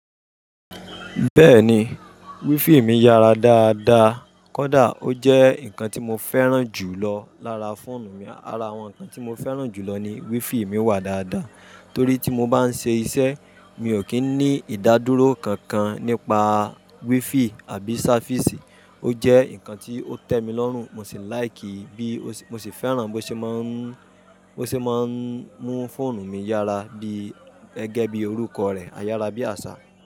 Bẹ́ẹ̀ni, wifi mi yára dáadáa. Kódà ó jẹ́ ǹkan tí mo fẹ́ràn jù lọ lára fóònù mi. Ara awọn nkan ti mọ fẹràn julọ ni wifi mi wa dáadáa. Torí tí mo bá ń ṣe iṣẹ́, mi ò kí ń ní ìdádúró kankan nípa wifi àbí service. Ó jẹ́ ǹkan tí ó tẹ́mi lọ́rùn, mo sì like, bí, mo sì fẹ́ràn bó ṣe máa ń, bó ṣe máa ń mú fóònù mi yára bí, gẹ́gẹ́ bí orúkọ rẹ̀, ayára bí àṣá.